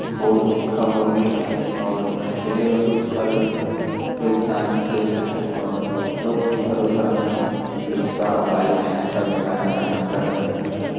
Board में लिखा हुआ मिल रहा है और यहाँ ठेले में कुछ फल कोई इंसान बेच रहा है और लोग इधर-उधर अपने रिक्शा बाइक साइकिल से आना -जाना कर रहे हैं।